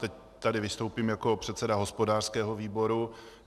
Teď tady vystoupím jako předseda hospodářského výboru.